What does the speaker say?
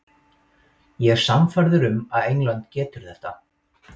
Ég er sannfærður um að England getur þetta.